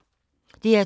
DR2